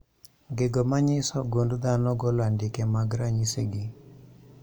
Gigo manyiso gund dhano golo andike mag ranyisi gi